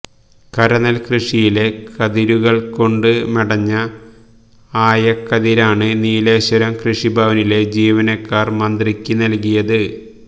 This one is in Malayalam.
കരനെല്ക്കൃഷിയിലെ കതിരുകള്കൊണ്ട് മെടഞ്ഞ ആയക്കതിരാണ് നീലേശ്വരം കൃഷിഭവനിലെ ജീവനക്കാര് മന്ത്രിക്ക് നല്കിയത്